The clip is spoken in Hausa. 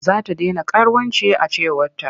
Za ta dena karuwanci a cewarta.